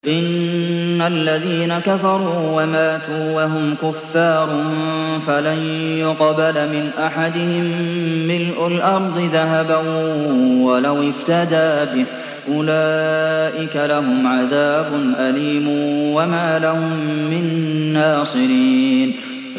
إِنَّ الَّذِينَ كَفَرُوا وَمَاتُوا وَهُمْ كُفَّارٌ فَلَن يُقْبَلَ مِنْ أَحَدِهِم مِّلْءُ الْأَرْضِ ذَهَبًا وَلَوِ افْتَدَىٰ بِهِ ۗ أُولَٰئِكَ لَهُمْ عَذَابٌ أَلِيمٌ وَمَا لَهُم مِّن نَّاصِرِينَ